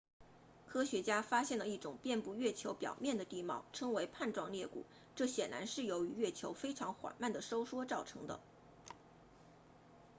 科学家发现了一种遍布月球表面的地貌称为瓣状裂谷这显然是由于月球非常缓慢地收缩造成的